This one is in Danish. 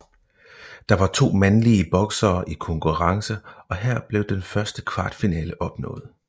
Der var 2 mandlige boksere i konkurrence og her blev den første kvartfinale opnået